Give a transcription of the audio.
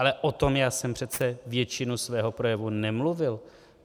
Ale o tom já jsem přece většinu svého projevu nemluvil.